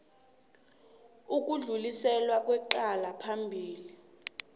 ukudluliselwa kwecala phambili